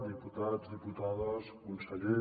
diputats diputades conseller